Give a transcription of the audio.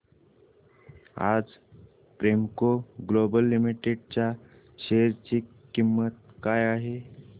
आज Premco global limited च्या share ची किंमत काय आहे